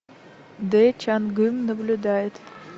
дэ чан гым наблюдает